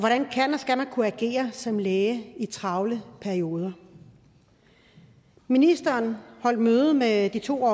skal man kunne agere som læge i travle perioder ministeren holdt møde med de to